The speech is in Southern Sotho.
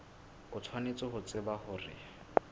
o tshwanetse ho tseba hore